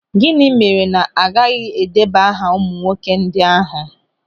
Gịnị mere na agaghị edeba aha ụmụ nwoke ndị ahụ?